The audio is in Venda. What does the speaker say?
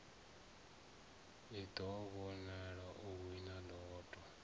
a ḓivhona o wina lotto